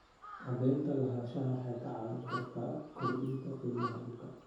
Cadaynta lahaanshaha waxay kaa caawin kartaa kordhinta qiimaha dhulka.